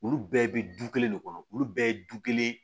Olu bɛɛ bɛ du kelen de kɔnɔ olu bɛɛ ye du kelen